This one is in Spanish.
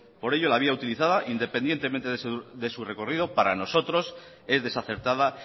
por ello la vía utilizada independientemente de su recorrido para nosotros es desacertada